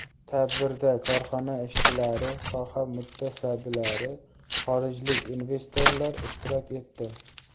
Tadbirda korxona ishchilari, soha mutasaddilari, xorijlik investorlar ishtirok etdi.